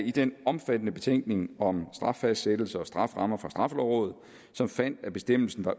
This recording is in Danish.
i den omfattende betænkning om straffastsættelse og strafferammer fra straffelovrådet som fandt at bestemmelsen er